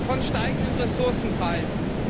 von steigenden Ressourcenpreisen.